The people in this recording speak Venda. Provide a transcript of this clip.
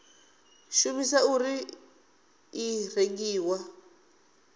shumisiwa na uri i rengiwa